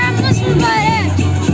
Bayramımız mübarək!